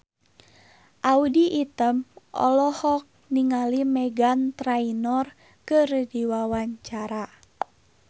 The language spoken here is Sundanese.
Audy Item olohok ningali Meghan Trainor keur diwawancara